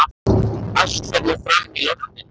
Allt fer nú fram í loftinu.